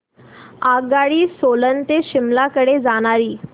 आगगाडी सोलन ते शिमला कडे जाणारी